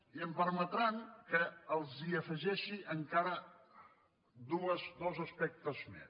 i em permetran que els afegeixi encara dos aspectes més